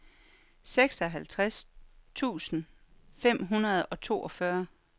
seksoghalvtreds tusind fem hundrede og toogfyrre